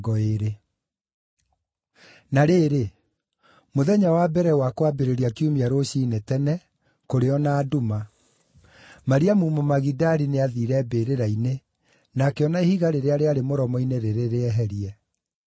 Na rĩrĩ, mũthenya wa mbere wa kwambĩrĩria kiumia rũciinĩ tene, kũrĩ o na nduma, Mariamu Mũmagidali nĩathiire mbĩrĩra-inĩ na akĩona ihiga rĩrĩa rĩarĩ mũromo-inĩ rĩrĩ rĩeherie.